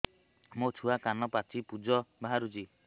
ମୋ ଛୁଆ କାନ ପାଚି ପୂଜ ବାହାରୁଚି